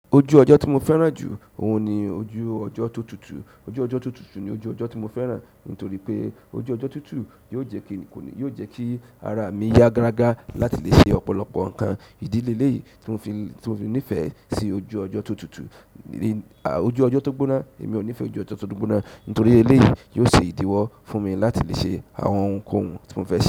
Ojú ọ jọ́ tí mo fẹ́ràn jù, òun ni ojú ọjọ́ tó tutù. Ojú ọjọ́ tó tutù ni ojú ọjọ́ tí mo fẹ́ràn, nítorí pé ojú ọjọ́ tútù, yóò jẹ́ kí ara mi yá gágá láti lè ṣe ọ̀pọ̀lọpọ̀ nǹkan. Idi leleyi timo fi nifesi ojú ojo to tutu ojú ọjọ́ tó gbóná, èmi ò nífẹ̀ẹ́ ojú ọjọ́ tó gbóná, nítorí ilé yìí yóò ṣe ìdíwọ́ fún mi láti lè ṣe àwọn ohunkóhun tí mo fẹ́.